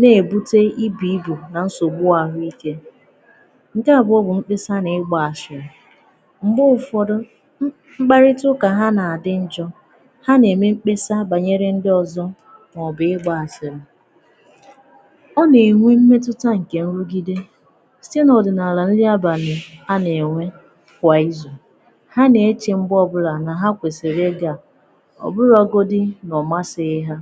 na-ebutà ibù ibù nà nsogbu ahụ̀ike nke à bụ̀ obù mkpesà na ịgbà ashìrì m̄gbè ụfọdụ̀ ṃkpàrị̀tà ụkà ha na-adị̀ njọ̀ ha na-emè m̄kpesà banyerè ndị ọzọ̀ maọ̀bụ̀ ịgbà asịrị̀ ọ na-enwè mmetutà nkè nrùgidè sitē n’ọdịnaalà nrì abalị̀ ha na-enwè kwà izù ha na-echè m̄gbè ọbụlà nà hà kwesirì ịgà ọbụ̀rogodù na ọ masìghị̀ hà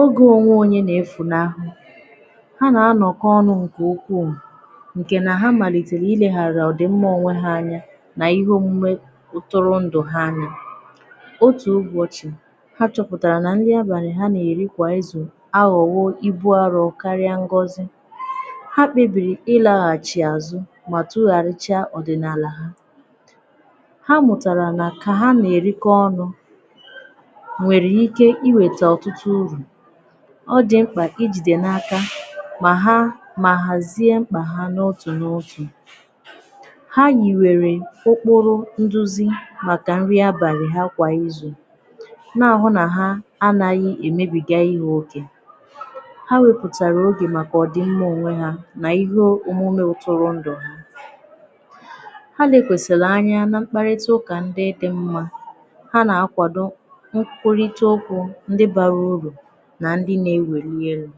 ogè onwè onyè na-efùnahụ̀ ha na-anọ̀kọ̀ ọnụ̀ nkè ukwuù nkè nà hà maliterè ilegharà ọdị mmà onwè hà anya n’ihe omumè otòrò ndụ̀ ha anya otù ụbọchị̀ ha chọ̀pụtarà na nrì abalị̀ ha na-erì kwà izù aghọ̀wò ibù arọ̀ karịà ngozì ha kpebirì ịlàghàchì azụ̀ mà tugharichà ọdị̀naalà ha ha mụtarà nà kà ha na-erikọ̀ ọnụ̀ nwerè ike iwetè ọtụtụ urù ọdị̀ m̄kpà ijidè n’aka mà ha mà hazie m̄kpà ha nọ̀ otù n’otù ha yiwerè okporò nduzì màkà nrì abalị̀ ha kwà izù na-ahụ̀ nà ha anaghị̀ emèbigà ihe okē ha wepùtarà obi màkà ọdị̀ mmà onwè ha n’ihe omumè tụrụ̀ ndụ̀ hà ha lekwàsarà anya na m̄kpàrịtà ụkà ndị dị̀ mmà ha na-akwàdò nkwulitè okwù ndị barà urù nà ndị na-ewelì ihe yà